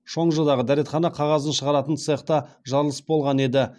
шоңжыдағы дәретхана қағазын шығаратын цехта жарылыс болған еді